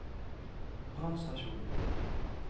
brannstasjon